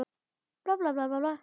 Anna dóttir